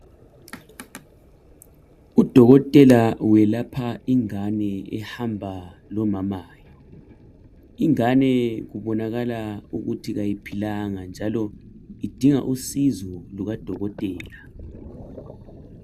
Udokotela welapha ingane ehamba lomamayo. Ingane kubonakala ukuthi ayiphilanga njalo idinga usizo lukadokotela.